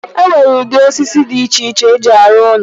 E nwere ụdị osisi dị iche iche eji arụ ụlọ.